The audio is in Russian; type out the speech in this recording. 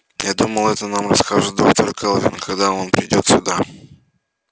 я думаю это нам расскажет доктор кэлвин когда он придёт сюда